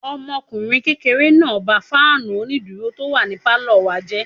Ọmọkùnrin kékeré náà ba fáànù onídúró tó wà ní pálọ̀ wa jẹ́